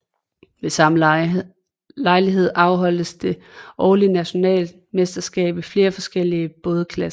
Ved samme lejlighed afholdes det årlige nationalmesterskab i flere forskellige bådklasser